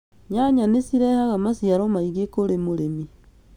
Nyanya nĩ cirehaga maciaro maingĩ kũrĩ mũrĩmi